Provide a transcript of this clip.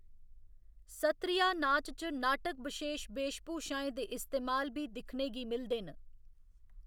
सत्त्रिया नाच च नाटक बशेश वेश भूशाएं दे इस्तेमाल बी दिक्खने गी मिलदे न।